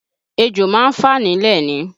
Ejò má ń fà nílẹ̀ ni